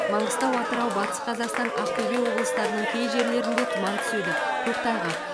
маңғыстау атырау батыс қазақстан ақтөбе облыстарының кей жерлерінде тұман түседі көктайғақ